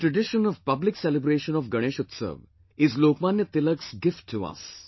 The tradition of public celebration of Ganesh Utsav is Lokmanya Tilak's gift to us